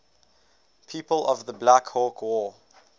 people of the black hawk war